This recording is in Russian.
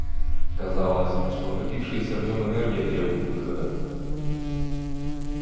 казалось что накопившаяся в нем энергия требует выхода